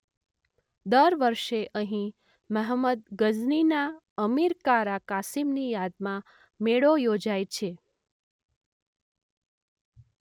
દર વર્ષે અહીં મહંમદ ગઝનીના અમીર કારા કાસીમની યાદમાં મેળો યોજાય છે.